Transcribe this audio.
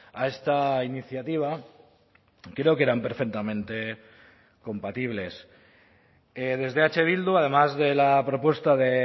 a esta iniciativa creo que eran perfectamente compatibles desde eh bildu además de la propuesta de